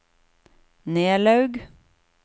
Nelaug